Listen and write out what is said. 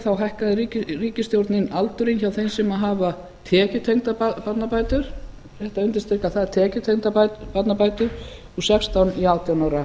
þá hækkaði ríkisstjórnin aldurinn hjá þeim sem hafa tekjutengdar barnabætur rétt að undirstrika það tekjutengdar barnabætur úr sextán í átján ára